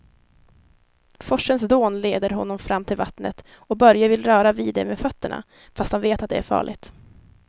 Forsens dån leder honom fram till vattnet och Börje vill röra vid det med fötterna, fast han vet att det är farligt.